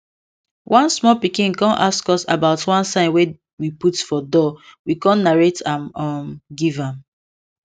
one small pikin con ask us about one sign wey we put for doorwe con narrate am um give am